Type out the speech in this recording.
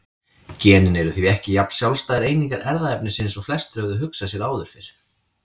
Genin eru því ekki jafn sjálfstæðar einingar erfðaefnisins og flestir höfðu hugsað sér áður fyrr.